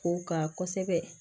Kow ka kɔsɛbɛ